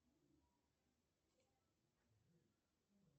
джой выписка по счету за апрель